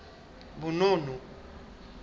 bonono